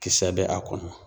Kisɛ bɛ a kɔnɔ.